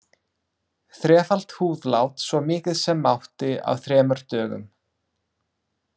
Þrefalt húðlát, svo mikið sem mátti, á þremur dögum.